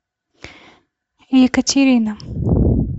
екатерина